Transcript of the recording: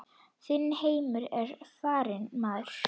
Þinn heimur er farinn maður.